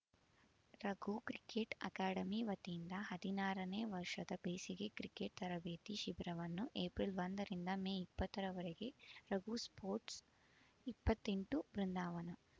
Raghu cricket academy ವತಿಯಿಂದ ಹದಿನಾರನೇ ವರ್ಷದ ಬೇಸಿಗೆ ಕ್ರಿಕೆಟ್ ತರಬೇತಿ ಶಿಬಿರವನ್ನು ಏಪ್ರಿಲ್ ಒಂದ ರಿಂದ ಮೇ ಇಪ್ಪತ್ತರವರೆಗೆ ರಘು ಸ್ಪೋರ್ಟ್ಸ್ ಇಪ್ಪತ್ತೆಂಟು ಬೃಂದಾವನ